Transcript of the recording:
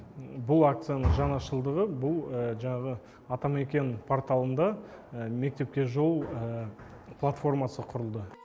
бұл акцияның жаңашылдығы бұл жаңағы атамекен порталында мектепке жол платформасы құрылды